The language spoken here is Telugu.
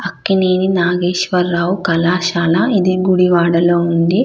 అక్కినేని నాగేశ్వర్ రావు కళాశాల. ఇది గుడి వడ లో ఉంది.